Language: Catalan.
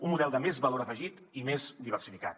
un model de més valor afegit i més diversificat